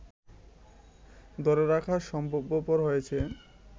ধরে রাখা সম্ভবপর হয়েছে